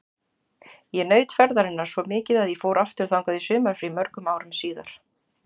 Ég naut ferðarinnar svo mikið að ég fór aftur þangað í sumarfrí mörgum árum síðar.